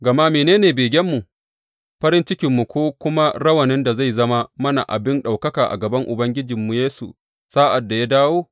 Gama mene ne begenmu, farin cikinmu, ko kuma rawanin da zai zama mana abin ɗaukaka a gaban Ubangijinmu Yesu sa’ad da ya dawo?